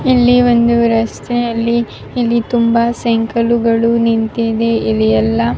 ಇಲ್ಲಿ ಒಂದು ರಸ್ತೆಯಲ್ಲಿ ತುಂಬ ಸೈಕಲ್ ಗಳು ನಿಂತಿವೆ. ಇಲ್ಲಿ ಎಲ್ಲ --